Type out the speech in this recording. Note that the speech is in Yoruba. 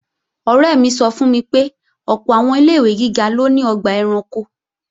Ọ̀rẹ́ mi sọ fún mi pé ọ̀pọ̀ àwọn ilé-ìwé gíga ló ní ọgbà ẹranko